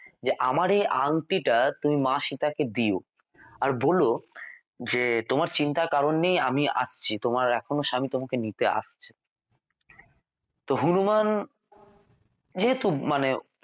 যে আমার এই আংটিটা তুমি মা সীতা কে দিও আর বলো যে তোমার চিন্তার কারণ নেই আমি আসছি তোমার এখনও স্বামী তোমাকে নিতে আসছে তো হনুমান যেহেতু মানে